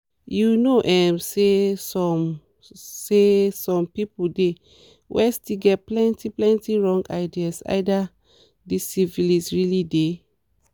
you know um say some say some people dey where still get plenty plenty wrong ideas either this syphilis realy dey